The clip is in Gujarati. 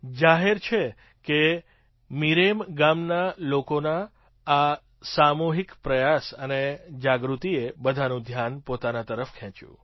જાહેર છે કે મિરેમ ગામના લોકોના આ સામૂહિક પ્રયાસ અને જાગૃતિએ બધાનું ધ્યાન પોતાના તરફ ખેંચ્યું